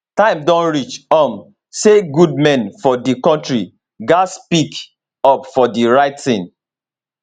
time don reach um say good men for dis kontri gatz to speak up for di right tin